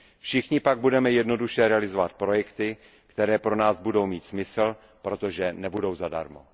Všichni pak budeme jednoduše realizovat projekty, které pro nás budou mít smysl, protože nebudou zadarmo.